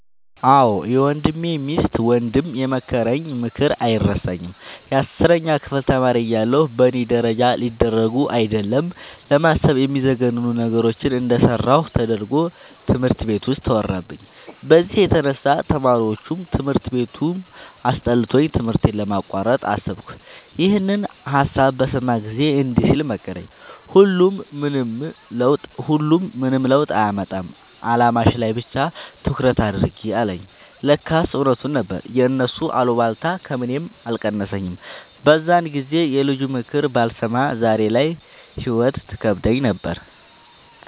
አዎ የወንድሜ ሚስት ወንድም የመከረኝ ምክር አይረሳኝም። የአስረኛ ክፍል ተማሪ እያለሁ በእኔ ደረጃ ሊደረጉ አይደለም ለማሰብ የሚዘገንኑ ነገሮችን እንደሰራሁ ተደርጎ ትምህርት ቤት ውስጥ ተወራብኝ። በዚህ የተነሳ ተማሪዎቹም ትምህርት ቤቱም አስጠልቶኝ ትምህርቴን ለማቋረጥ አሰብኩ። ይኸንን ሀሳብ በሰማ ጊዜ እንዲህ ሲል መከረኝ "ሁሉም ምንም ለውጥ አያመጣም አላማሽ ላይ ብቻ ትኩረት አድርጊ" አለኝ። ለካስ እውነቱን ነበር የእነሱ አሉባልታ ከምኔም አልቀነሰኝም። በዛን ጊዜ የልጁንምክር ባልሰማ ዛሬ ላይ ህይወት ትከብደኝ ነበር።